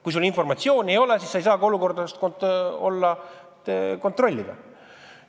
Kui informatsiooni ei ole, siis ei saa olukorda kontrollida.